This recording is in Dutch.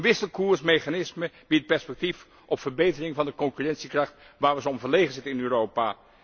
Een wisselkoersmechanisme biedt perspectief op verbetering van de concurrentiekracht waar we zo om verlegen zitten in Europa.